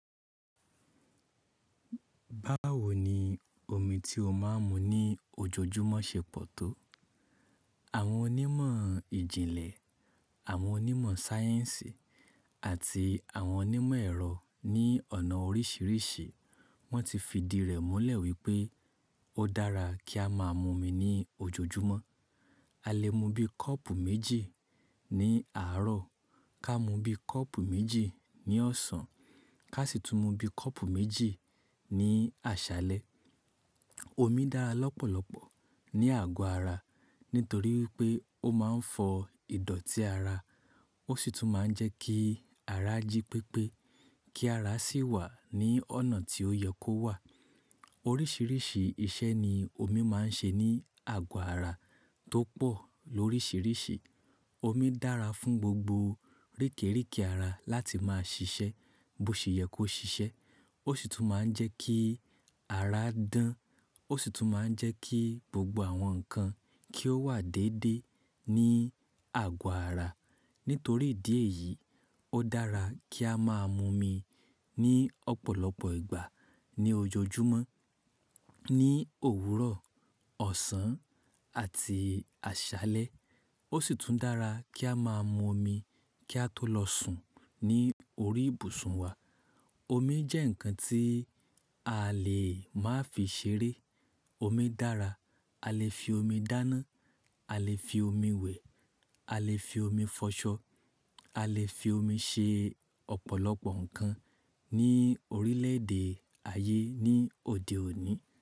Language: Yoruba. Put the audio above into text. Báwo ni omi tí a máa ń mu ní ojoojúmọ́ ṣe pọ̀ tó. Àwọn onímọ̀ ìjìnlẹ̀, àwọn onímọ̀ sáyẹ́ǹsì àti àwọn onímọ̀ ẹ̀rọ ní ọ̀nà oríṣiríṣi, wọ́n ti fi di rẹ̀ múlẹ̀ wípé ó dára kí a máa mu omi ní ojoojúmọ́. A lè mu bí kọ́ọ̀pù méjì ní àárọ̀, ká mu bí kọ́ọ̀pù méjì ní ọ̀sán, ká sì tún mu bí kọ́ọ̀pù méjì ní àṣálẹ́. Omi dára lọ́pọ̀lọpọ̀ ní àgọ́ ara, nítorí pé ó máa ń fọ ìdọ̀tí ara, ó sì tún máa ń jẹ́ kí ara jí pépé, kí ara sì wà ní ọ̀nà tí ó yẹ kó wà. Oríṣiríṣi iṣẹ́ ni omi máa ń ṣe ní àgọ́ ara tó pọ̀ lóríṣiríṣi. Omi dára fún gbogbo ríkèríkì ara láti máa ṣiṣẹ́ bó ṣe yẹ kó ṣiṣẹ́. Ó sì tún máa ń jẹ́ kí ara dán, ó sì tún máa ń jẹ́ kí gbogbo àwọn nǹkan kí ó wà déédé ní àgọ́ ara. Nítorí ìdí èyí, ó dára kí a máa mu omi ní ọ̀pọ̀lọpọ̀ ìgbà ní ojoojúmọ́, ní òwúrọ̀, ọ̀sán àti àṣálẹ́. Ó sì tún dára kí a máa mu omi kí a tó lọ sùn ní orí ìbùsùn wa. Omi jẹ́ nǹkan tí a lè má fi ṣeré. Omi dára, a lè fi omi dáná, a lè fi omi wẹ̀, a lè fi omi fọṣọ, a lè fi omi ṣe ọ̀pọ̀lọpọ̀ nǹkan ní orílẹ̀ èdè ayé ní òde òní.